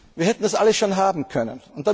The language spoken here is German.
Wir hätten das alles schon haben können.